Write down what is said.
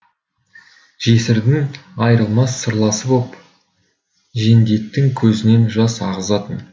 жесірдің айырылмас сырласы боп жендеттің көзінен жас ағызатын